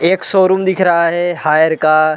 एक शोरूम दिख रहा है हायर का--